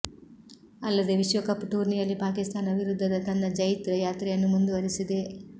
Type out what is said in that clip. ಅಲ್ಲದೆ ವಿಶ್ವಕಪ್ ಟೂರ್ನಿಯಲ್ಲಿ ಪಾಕಿಸ್ತಾನ ವಿರುದ್ಧದ ತನ್ನ ಜೈತ್ರ ಯಾತ್ರೆಯನ್ನು ಮುಂದುವರೆಸಿದೆ